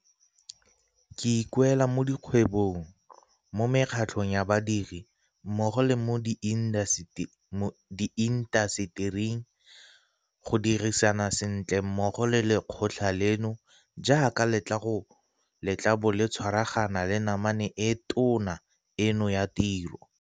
Ke ikuela mo dikgwebong, mo mekgatlhong ya badiri, mmogo le mo diintasetering go dirisana sentle mmogo le lekgotla leno jaaka le tla bo le tshwaragana le namane e tona eno ya tiro.